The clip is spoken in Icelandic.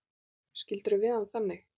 Skildirðu við hann þannig?